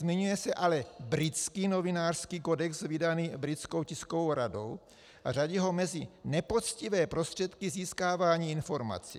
Zmiňuje se ale britský novinářský kodex vydaný Britskou tiskovou radou a řadí ho mezi nepoctivé prostředky získávání informací.